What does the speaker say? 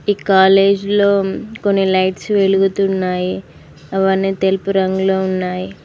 ఈ కాలేజీలో కొన్ని లైట్స్ వెలుగుతున్నాయి అవన్నీ తెలుపు రంగులో ఉన్నాయి.